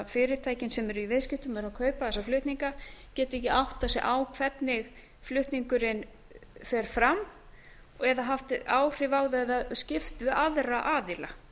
fyrirtækin sem eru í viðskiptum munu kaupa þessa flutninga geti ekki áttað sig á hvernig flutningurinn fer fram eða haft áhrif á það eða skipt við aðra aðila